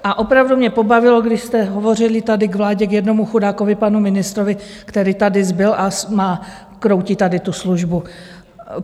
A opravdu mě pobavilo, když jste hovořili tady k vládě, k jednomu chudákovi panu ministrovi, který tady zbyl a kroutí tady tu službu.